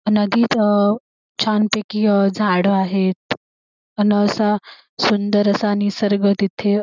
नदीत अ छान पैकी अ झाड आहेत अन असा सुंदर असा निसर्ग तिथे--